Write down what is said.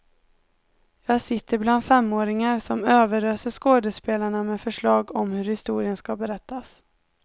Jag sitter bland femåringar som överöser skådespelarna med förslag om hur historien ska berättas.